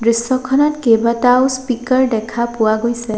দৃশ্যখনত কেইবাটাও স্পিকাৰ দেখা পোৱা গৈছে।